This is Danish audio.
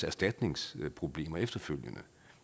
erstatningsproblemer efterfølgende